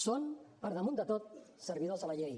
són per damunt de tot servidors de la llei